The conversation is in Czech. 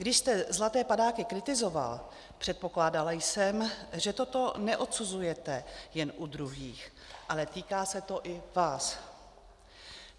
Když jste zlaté padáky kritizoval, předpokládala jsem, že toto neodsuzujete jen u druhých, ale týká se to i vás.